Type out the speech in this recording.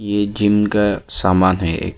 यह जिम का सामान है।